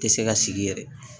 Tɛ se ka sigi yɛrɛ